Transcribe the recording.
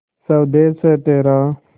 स्वदेस है तेरा